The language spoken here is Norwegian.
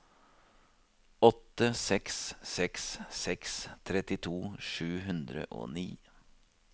åtte seks seks seks trettito sju hundre og ni